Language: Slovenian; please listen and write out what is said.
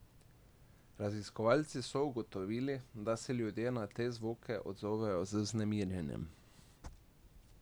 Raziskovalci so ugotovili, da se ljudje na te zvoke odzovejo z vznemirjenjem.